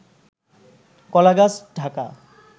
কলাগাছ ঢাকা